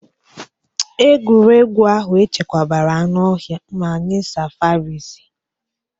Egwuregwu ahụ echekwabara anụ ọhịa ma nye safarisi.